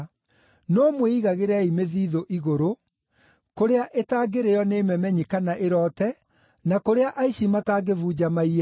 No mwĩigagĩrei mĩthiithũ igũrũ, kũrĩa ĩtangĩrĩĩo nĩ memenyi kana ĩroote, na kũrĩa aici matangĩbunja maiye.